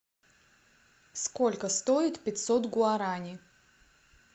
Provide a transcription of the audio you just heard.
сколько стоит пятьсот гуарани